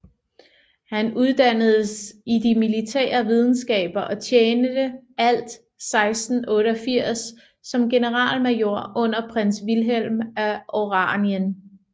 Han uddannedes i de militære videnskaber og tjente alt 1688 som generalmajor under prins Vilhelm af Oranien